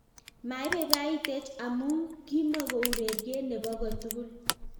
Maibaibaitech amuu kimogoureriet nebo kotugul."